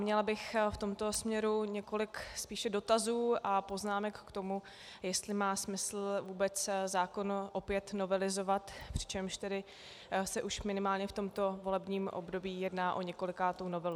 Měla bych v tomto směru několik spíše dotazů a poznámek k tomu, jestli má smysl vůbec zákon opět novelizovat, přičemž tedy se už minimálně v tomto volebním období jedná o několikátou novelu.